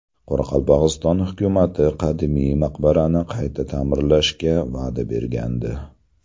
Qoraqalpog‘iston hukumati qadimiy maqbarani qayta ta’mirlashga va’da bergandi.